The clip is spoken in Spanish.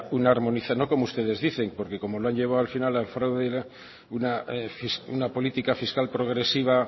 una armonización no como ustedes dicen porque como lo han llevado al final al fraude y una política fiscal progresiva